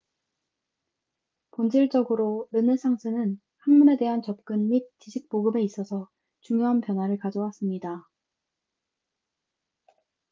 본질적으로 르네상스는 학문에 대한 접근 및 지식 보급에 있어서 중요한 변화를 가져왔습니다